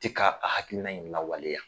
Te ka a hakiina in lawaleya.